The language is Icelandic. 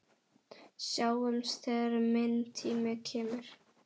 Sjáumst þegar minn tími kemur.